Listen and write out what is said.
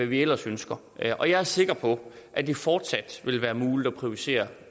vi ellers ønsker og jeg er sikker på at det fortsat vil være muligt at prioritere